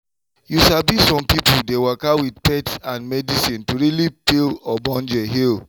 you sabi some people dey waka with faith and medicine to really feel obonge heal.